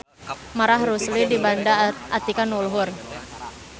Marah Rusli mibanda atikan nu luhur.